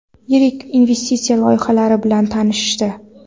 yirik investitsiya loyihalari bilan tanishdi.